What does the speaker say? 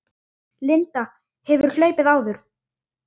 Linda: Hefurðu hlaupið áður?